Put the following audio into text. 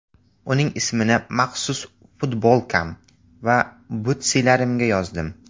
Uning ismini maxsus futbolkam va butsilarimga yozdim.